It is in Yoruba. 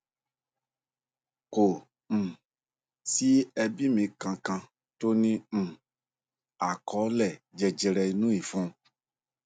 kò um sí ẹbí mi kankan tó ní um àkọọlẹ jẹjẹre inú ìfun